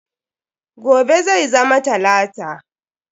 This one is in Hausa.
Gobe zai zama talata.